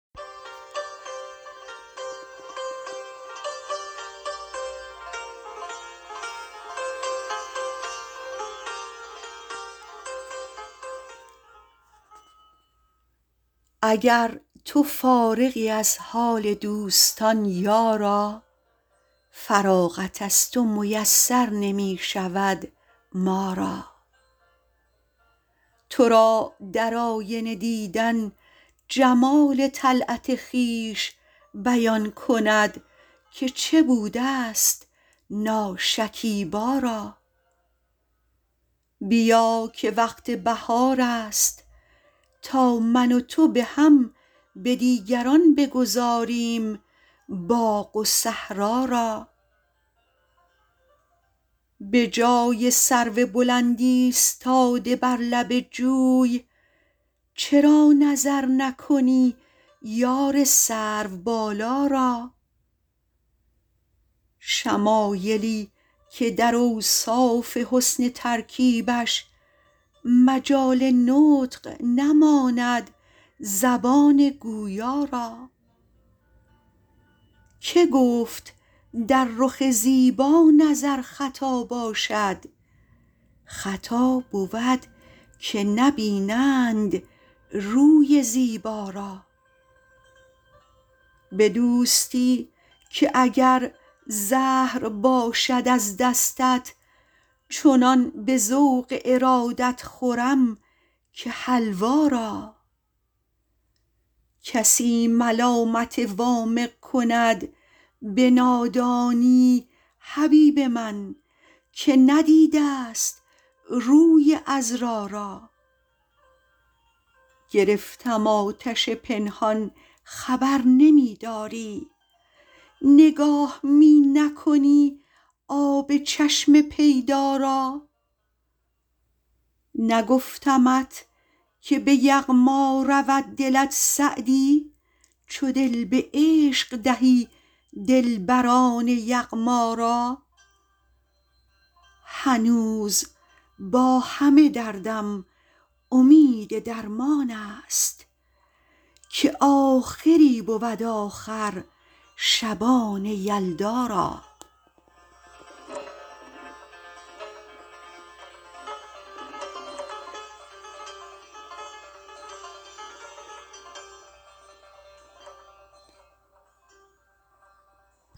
اگر تو فارغی از حال دوستان یارا فراغت از تو میسر نمی شود ما را تو را در آینه دیدن جمال طلعت خویش بیان کند که چه بوده ست ناشکیبا را بیا که وقت بهار است تا من و تو به هم به دیگران بگذاریم باغ و صحرا را به جای سرو بلند ایستاده بر لب جوی چرا نظر نکنی یار سروبالا را شمایلی که در اوصاف حسن ترکیبش مجال نطق نماند زبان گویا را که گفت در رخ زیبا نظر خطا باشد خطا بود که نبینند روی زیبا را به دوستی که اگر زهر باشد از دستت چنان به ذوق ارادت خورم که حلوا را کسی ملامت وامق کند به نادانی حبیب من که ندیده ست روی عذرا را گرفتم آتش پنهان خبر نمی داری نگاه می نکنی آب چشم پیدا را نگفتمت که به یغما رود دلت سعدی چو دل به عشق دهی دلبران یغما را هنوز با همه دردم امید درمان است که آخری بود آخر شبان یلدا را